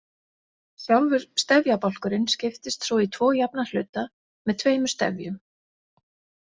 Sjálfur stefjabálkurinn skiptist svo í tvo jafna hluta með tveimur stefjum.